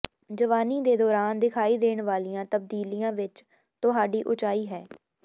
ਜਵਾਨੀ ਦੇ ਦੌਰਾਨ ਦਿਖਾਈ ਦੇਣ ਵਾਲੀਆਂ ਤਬਦੀਲੀਆਂ ਵਿਚ ਤੁਹਾਡੀ ਉਚਾਈ ਹੈ